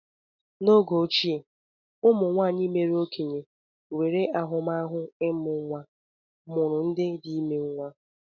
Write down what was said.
N'oge ochie, ụmụnwaanyị mère okenye nwere ahụmahụ ịmụ nwa mụrụ ndị dị ime nwa.